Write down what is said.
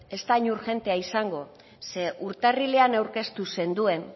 ez da hain urgentea izango ze urtarrilean aurkeztu zenuen